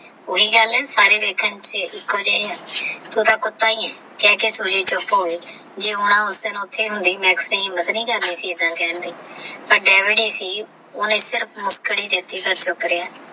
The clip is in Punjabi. ਓਹੀ ਗੱਲ ਆਹ ਸਾਰੇ ਵੇਖਣ ਤੇਹ ਏਕੋ ਜੇ ਆਹ ਓਹ ਤਹ ਕੁੱਤਾ ਹੀ ਆਹ ਸੂਜੀ ਚੁਪ ਹੋ ਗਏਜੇ ਆਉਂਦਾ ਉਸ ਦਿਨ ਓਹ੍ਤੇ ਹੋਂਦੀ ਮਾਕ੍ਸ ਨੇ ਹਿਮ੍ਮਾਤਰ ਨਹੀ ਕਰਦੀ ਸੀ ਆਈਦਾ ਕਹਨ ਦੀ ਪਰ ਜੇਵੀ ਵੀ ਸਹੀਓਹਨੇ ਸਿਰਫ ਤਹ ਸੁਖ੍ਰੇਯਾ